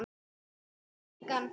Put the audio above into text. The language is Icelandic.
Ég dæmi engan.